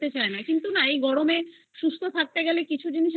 খেতে চায় না কিন্তু না এই গরমে সুস্থ থাকতে গেলে আমাদের কিছু জিনিস